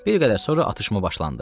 Bir qədər sonra atışma başlandı.